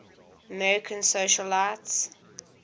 american socialites